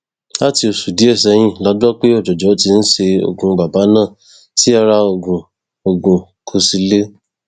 láti oṣù díẹ sẹyìn la gbọ pé òjòjò ti ń ṣe ogún bàbà náà tí ara ogún ogún kò sì le